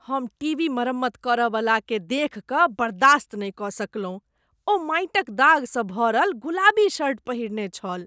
हम टीवी मरम्मत करयवलाकेँ देखि कऽ बर्दाश्त नहि कऽ सकलहुँ। ओ माटि क दाग सँ भरल गुलाबी शर्ट पहिरने छल।